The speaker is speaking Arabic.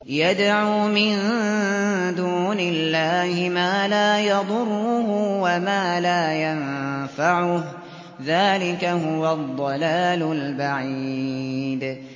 يَدْعُو مِن دُونِ اللَّهِ مَا لَا يَضُرُّهُ وَمَا لَا يَنفَعُهُ ۚ ذَٰلِكَ هُوَ الضَّلَالُ الْبَعِيدُ